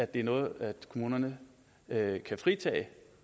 det er noget kommunerne kan fritage